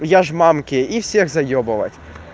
я же мамке и всех заебывать